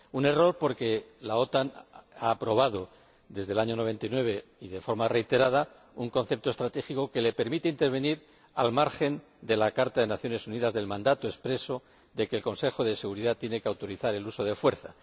un error porque la OTAN ha aprobado, desde el año 1999 y de forma reiterada, un concepto estratégico que le permite intervenir al margen de la Carta de las Naciones Unidas, del mandato expreso de que el Consejo de Seguridad tiene que autorizar el uso de la fuerza.